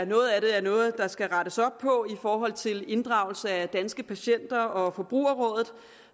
noget af det er noget der skal rettes op på i forhold til inddragelse af danske patienter og forbrugerrådet